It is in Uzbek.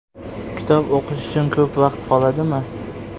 Kitob o‘qish uchun ko‘p vaqt qoladimi?